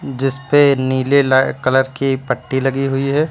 जिसपे नीले ला कलर की पट्टी लगी हुई है।